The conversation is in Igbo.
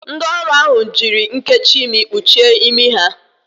Ndị ọrụ ahụ jiri nnkechi imi kpuchie imi ha.